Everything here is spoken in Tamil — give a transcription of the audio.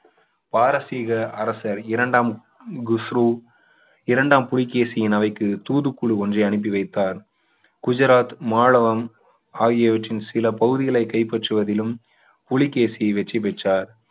பாரசிக அரசர் இரண்டாம் குஸ்ரு இரண்டாம் புலிகேசியின் அவைக்கு தூது குழு ஒன்றை அனுப்பி வைத்தார் குஜராத் மாளவம் ஆகியவற்றின் சில பகுதிகளை கைப்பற்றுவதிலும் புலிகேசி வெற்றி பெற்றார்